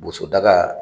Bosodaga